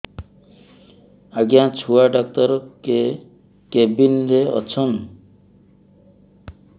ଆଜ୍ଞା ଛୁଆ ଡାକ୍ତର କେ କେବିନ୍ ରେ ଅଛନ୍